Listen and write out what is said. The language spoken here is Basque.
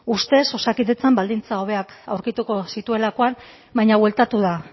ustez osakidetzan baldintza hobeak aurkituko zituelakoan baina bueltatu da